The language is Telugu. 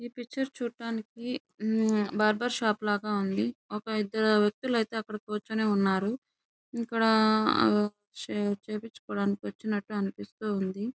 ఈ పిక్చర్ చూడటానికి బార్బర్ షాప్ లాగా ఉంది. ఒక ఇద్దరు వేక్తిలైతే అక్కడ కూర్చొని ఉన్నారు. ఇక్కడ అహ్హ్ షేవింగ్ చేయిచుకోవడానికి అనిపిస్తుంది.